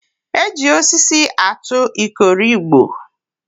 E ji osisi atụ ikoro igbo